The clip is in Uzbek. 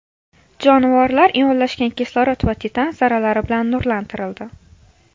Jonivorlar ionlashgan kislorod va titan zarralari bilan nurlantirildi.